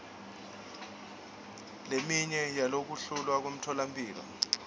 leminye yokuvulwa kwemitfolamphilo